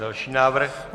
Další návrh.